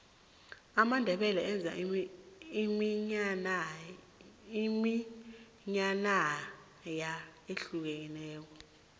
amandebele enza iminyanaya ehlukileko